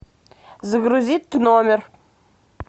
загрузить номер